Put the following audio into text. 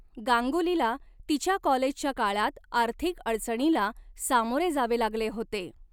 गांगुलीला तिच्या कॉलेजच्या काळात आर्थिक अडचणीला सामोरे जावे लागले होते.